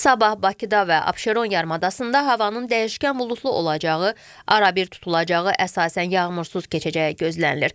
Sabah Bakıda və Abşeron yarımadasında havanın dəyişkən buludlu olacağı, arabir tutulacağı, əsasən yağmursuz keçəcəyi gözlənilir.